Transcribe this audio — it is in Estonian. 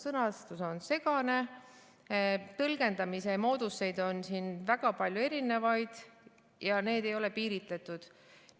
Sõnastus on segane, tõlgendamise mooduseid on siin väga palju erinevaid ja need ei ole piiritletud.